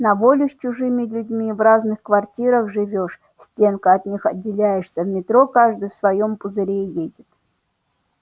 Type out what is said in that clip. на воле с чужими людьми в разных квартирах живёшь стенкой от них отделяешься в метро каждый в своём пузыре едет